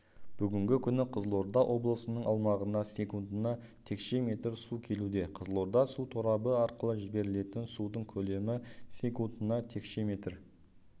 бүгінгі күні қызылорда облысының аумағына секундына текше метр су келуде қызылорда су торабы арқылы жіберілетін судың көлемі секундына текше метр